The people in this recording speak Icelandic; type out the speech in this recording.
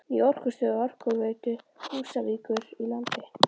Ný orkustöð Orkuveitu Húsavíkur í landi